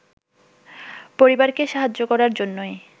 পরিবারকে সাহায্য করার জন্যই